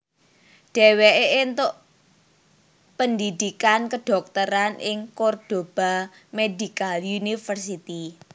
Dheweke entuk pendhidhikan kedhokteran ing Cordoba Medical University